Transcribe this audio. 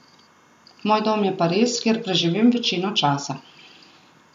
Moj dom je Pariz, kjer preživim večino časa.